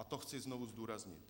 A to chci znovu zdůraznit.